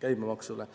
käibemaksule.